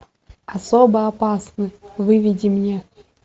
особо опасны выведи мне